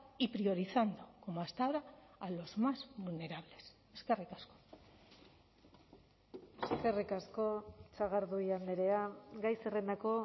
y priorizando como hasta ahora a los más vulnerables eskerrik asko eskerrik asko sagardui andrea gai zerrendako